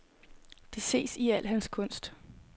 Det ses i al hans kunst.